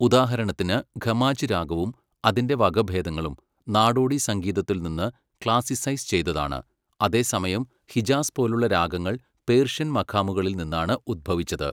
ഉദാഹരണത്തിന്, ഖമാജ് രാഗവും അതിന്റെ വകഭേദങ്ങളും നാടോടി സംഗീതത്തിൽ നിന്ന് ക്ലാസിസൈസ് ചെയ്തതാണ്, അതേസമയം ഹിജാസ് പോലുള്ള രാഗങ്ങൾ പേർഷ്യൻ മഖാമുകളിൽ നിന്നാണ് ഉത്ഭവിച്ചത്.